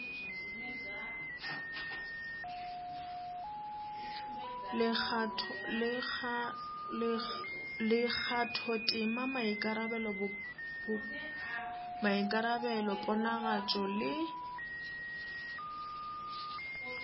le kgathotema maikarabelo ponagatšo le